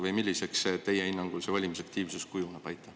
Või milliseks teie hinnangul see valimisaktiivsus kujuneb?